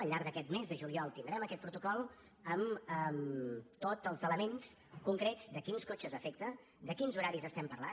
al llarg d’aquest mes de juliol tindrem aquest protocol amb tots els elements concrets a quins cotxes afecta de quins horaris estem parlant